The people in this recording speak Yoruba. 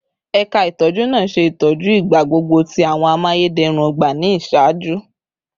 Ẹka itọju naa ṣe itọju igbagbogbo ti awọn amayederun ogba ni iṣaaju